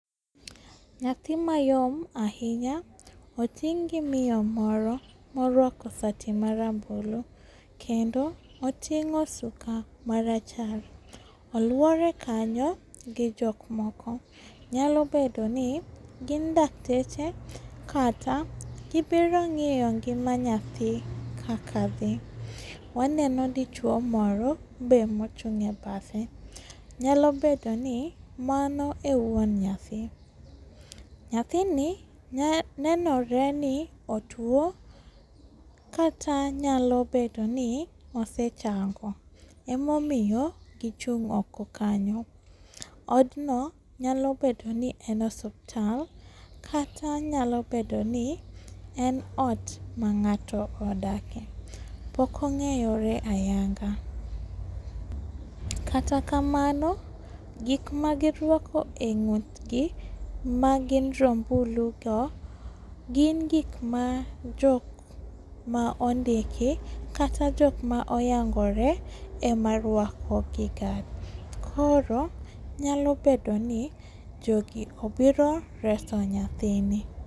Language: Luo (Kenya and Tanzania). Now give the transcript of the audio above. Nyathi mayom ahinya oting' gi miyo moro moruako sati marambulu, kendo oting'o suka marachar. Oluore kanyo gi jokmoko nyalo bedoni gin dakteche kata gibiro ng'iyo ngima nyathi kaka dhi. Waneno dichuo moro be mochung' e badhe, nyalo bedoni mano e wuon nyathi. Nyathini nenoreni otuo, kata nyalo bedoni osechango, emomiyo gichung' oko kanyo. Odno nyalo bedoni en osuptal, kata nyalo bedoni en ot mang'ato odake. Pok ong'eyore ayanga, kata kamano gikma giruako e ng'utgi magin rombulugo gin gikma jokma ondiki kata jokma oyangore ema ruako giga, koro nyalo bedoni jogi obiro reso nyathini.